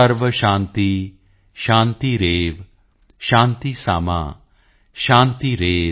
ਸਰਵ ਸ਼ਾਂਤੀ ਸ਼ਾਂਤੀਰੇਵ ਸ਼ਾਂਤੀ ਸਾਮਾ ਸ਼ਾਂਤੀਰੇਧਿ